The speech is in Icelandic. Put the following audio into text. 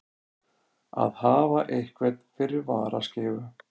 Að hafa einhvern fyrir varaskeifu